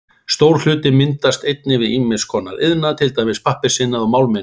Stór hluti myndast einnig við ýmiss konar iðnað, til dæmis pappírsiðnað og málmiðnað.